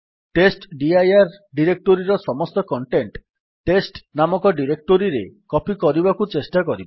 ଟେଷ୍ଟଡିର ଡିରେକ୍ଟୋରୀର ସମସ୍ତ content test ନାମକ ଡିରେକ୍ଟୋରୀରେ କପୀ କରିବାକୁ ଚେଷ୍ଟା କରିବା